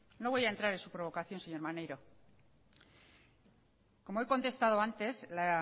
no voy a entrar en su provocación señor maneiro como he contestado antes la